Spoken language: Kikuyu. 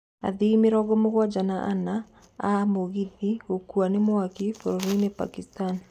Athii mĩrongo-mũgwanja na ana a mũgithi gũkua nĩ mwaki bũrũri-inĩ Bagistan.